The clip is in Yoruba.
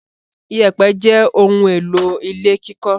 Ìyẹ̀pẹ̀ jẹ́ ohun-èlò ilé kíkọ́.